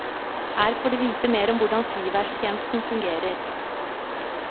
Her får du vite mer om hvordan flyværtjenesten fungerer.